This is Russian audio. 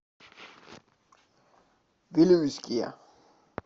вилюйске